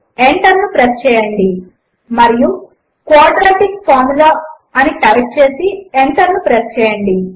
enter ను press చేయండి మరియు క్వాడ్రాటిక్ Formula అని టైప్ చేసి ఎంటర్ ప్రెస్ చేయండి